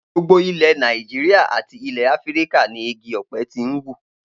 Gbogbo ilè̩ Nàìjíríà àti ilè̩ Áfíríkà ni igi ò̩pe̩ ti ń wù